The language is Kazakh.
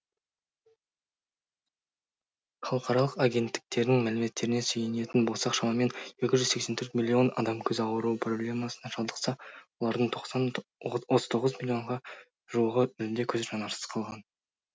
халықаралық агенттіктердің мәліметтеріне сүйенетін болсақ шамамен екі жүз сексен төрт миллион адам көз ауруы проблемасына шалдықса олардың тоқсын отыз тоғыз миллионға жуығы мүлде көз жанарсыз қалған